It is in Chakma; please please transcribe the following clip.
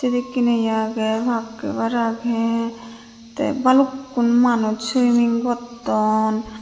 sedekken iye agey pak hebar agey te balukkun manuj swimming gotton.